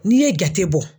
N'i ye jate bɔ